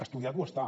estudiat ho està